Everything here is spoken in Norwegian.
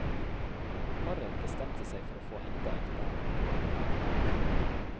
Paret bestemte seg for å få enda et barn.